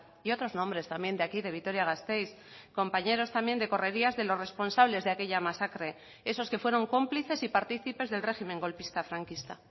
y otros nombres también de aquí de vitoria gasteiz compañeros también de correrías de los responsables de aquella masacre esos que fueron cómplices y participes del régimen golpista franquista